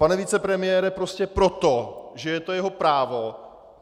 Pane vicepremiére, prostě proto, že je to jeho právo.